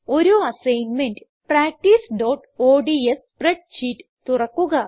ഒരു അസൈൻമെന്റ് practiceഓഡ്സ് spread sheet തുറക്കുക